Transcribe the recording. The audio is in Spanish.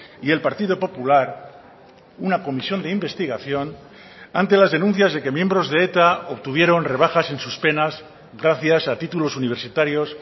y el partido popular una comisión de investigación ante las denuncias de que miembros de eta obtuvieron rebajas en sus penas gracias a títulos universitarios